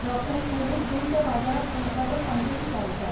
रोखडेंच हें दूद गोंयच्या बाजारांत हाडपाचो तांचो विचार आसा.